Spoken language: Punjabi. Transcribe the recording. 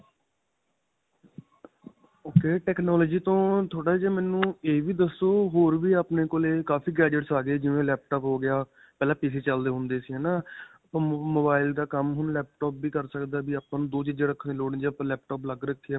"ok. technology ਤੋਂ ਥੋੜਾ ਜਿਹਾ ਮੈਨੂੰ ਇਹ ਵੀ ਦੱਸੋ, ਹੋਰ ਵੀ ਆਪਣੇ ਕੋਲੇ ਕਾਫੀ gadgets ਆ ਗਏ, ਜਿਵੇਂ laptop ਹੋ ਗਿਆ. ਪਹਿਲਾਂ